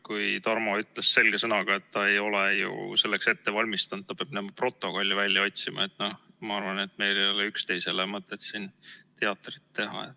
Kui Tarmo ütles selge sõnaga, et ta ei ole selleks ette valmistunud, ta peab minema protokolli välja otsima, siis ma arvan, et meil ei ole üksteisele mõtet siin teatrit teha.